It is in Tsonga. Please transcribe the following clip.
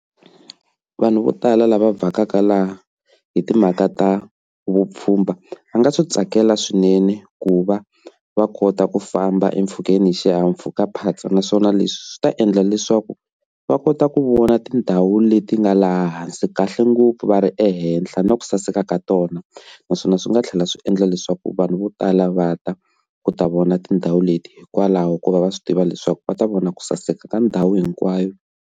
Vhanu vo tala la va vakaka la i ti mhaka ta vupfhumbha va nga swi tswakela swinene ku va va kota ku famba empfhukeni i xihahampfhukaphatsa naswona leswi swi ta endla leswaku va kota ku vona tindhawu leti ga laha hansi kahle ngopfu va ri le ehenhla na ku saseka ka tona naswona swi nga thlela swi endla leswaku vanhu vo tala vata ku ta vona tindhawu leti kwalano ku va va swi tiva leswaku va ta vona ku saseka ka ndhawu hinkwayo.